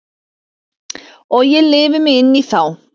Og ég lifi mig inn í þá.